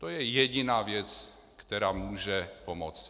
To je jediná věc, která může pomoci.